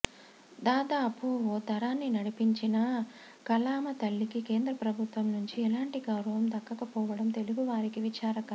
దాదాపు ఓ తరాన్ని నడిపించిన కళామ తల్లికి కేంద్ర ప్రభుత్వం నుంచి ఎలాంటి గౌరవం దక్కకపోవడం తెలుగువారికి విచారకరం